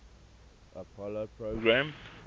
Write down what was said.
apollo program